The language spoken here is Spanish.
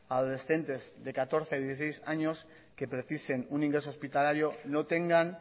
adolescentes de catorce a dieciséis años que precisen un ingreso hospitalario no tengan